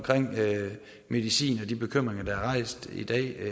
medicin og de bekymringer der er rejst i dag